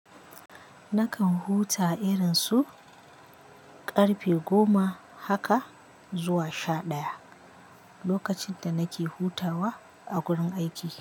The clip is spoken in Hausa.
Nakan huta irin su ƙarfe goma haka zuwa sha ɗaya lokacin da nake hutawa a gurin aiki.